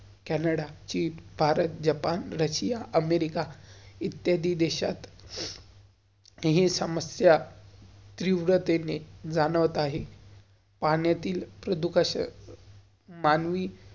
Canada, Greek, Bharat, Japan, Russia, America. इत्यादी देशित , हि समस्या त्रिव्राते ने जाणवत आहे, पाण्यातील प्रदुकश मानवी,